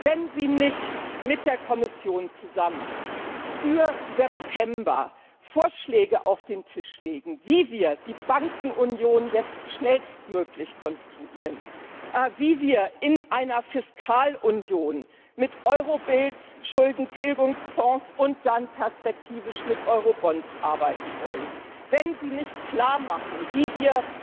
Wenn Sie nicht mit der Kommission zusammen für September Vorschläge auf den Tisch legen, wie wir die Bankenunion jetzt schnellstmöglich konstruieren, wie wir in einer Fiskalunion mit Eurobills, Schuldentilgungsfonds und dann perspektivisch mit Eurobonds arbeiten wollen, wenn Sie nicht klarmachen, wie wir